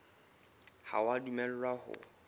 ha o a dumellwa ho